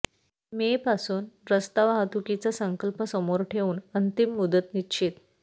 मेपासून रस्ता वाहतुकीचा संकल्प समोर ठेवून अंतिम मुदत निश्चित